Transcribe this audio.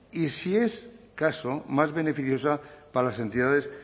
y si es caso más beneficiosa para las entidades